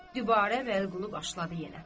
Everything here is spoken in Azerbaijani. Dübarə Vəliqulu başladı yenə.